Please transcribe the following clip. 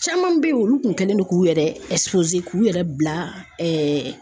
Caman bɛ ye olu kun kɛlen no k'u yɛrɛ k'u yɛrɛ bila